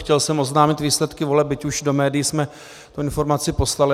Chtěl jsem oznámit výsledky voleb, byť už do médií jsme tu informaci poslali.